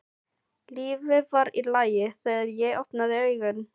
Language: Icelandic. Lífið var í lagi þegar ég opnaði augun.